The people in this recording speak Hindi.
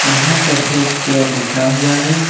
यहां पर हेल्थ केयर लिखा हुआ है।